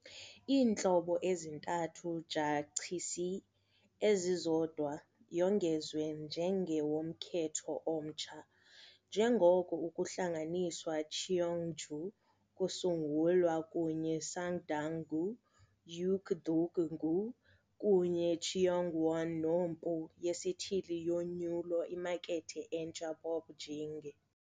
Iintlobo ezintathu jachisi ezizodwa yongezwe njenge womkhetho omtsha, njengoko ukuhlanganiswa Cheongju kusungulwa kunye Sangdang-gu Heungdeok-gu kunye Cheongwon-nompu yesithili yonyulo imakethe entsha ppopge.